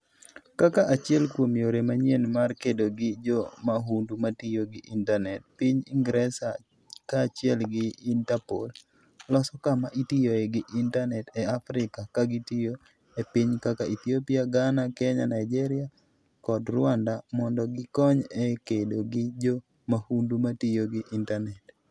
Kaka achiel kuom yore manyien mar kedo gi jo mahundu ma tiyo gi intanet, piny Ingresa kaachiel gi Interpol, loso kama itiyoe gi intanet e Afrika ka gitiyo e pinje kaka Ethiopia, Ghana, Kenya, Nigeria kod Rwanda mondo gikony e kedo gi jo mahundu ma tiyo gi intanet.